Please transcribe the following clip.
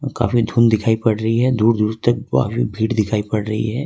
काफी धुन दिखाई पड़ रही है दूर दूर काफी भीड़ दिखाई पड़ रही है।